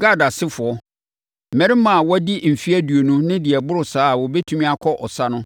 Gad asefoɔ: Mmarima a wɔadi mfeɛ aduonu ne deɛ ɛboro saa a wɔbɛtumi akɔ ɔsa no,